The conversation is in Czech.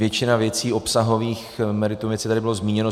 Většina věcí obsahových, meritum věci tady bylo zmíněno.